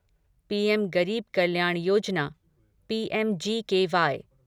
पीम Garib Kalyan Yojana PMGKY